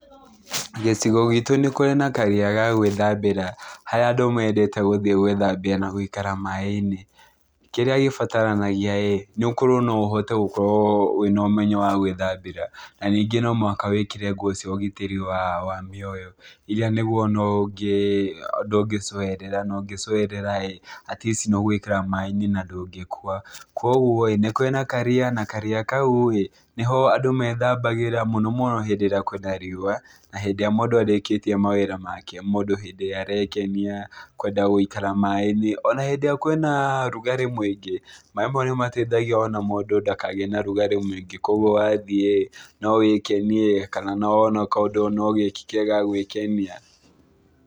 Gĩcigo gitu nĩ kũrĩ na karia ga gwĩthambĩra harĩa andu mendete gũthĩ gwĩthambĩra na gũikara maaĩ~inĩ. Kĩrĩa gĩbataranagiaĩ nĩ ukorwo no ũhote gũkorwo wĩna ũmenyo wa gwĩthambĩra na ningĩ no mũhaka wĩkĩre nguo cia ũgitĩri wa mioyo. Iria nĩguo ndũngĩ coerera na ũngĩcoerera atleast nĩũgũikara maaĩ~inĩ na ndũngĩ kua, Kogwo ni kũrĩ na karia. Na karia kau niho andu methambagĩra muno muno hĩndĩ ĩrĩa kwina riũa na hĩndĩ ĩrĩa mundu arĩkĩtie mawĩra make, mundu hĩndĩ ĩrĩa arekenia, kwenda guikara maaĩ~inĩ. Ona hĩndĩ ĩrĩa kwina rugarĩ mũingĩ maaĩ maũ nĩ mateithagia o na mũndũ nda kagĩe na rugarĩ mũingĩ kogwo wa thĩ no wĩkenie kana ona kaundu ũgĩke ga gũĩkenia.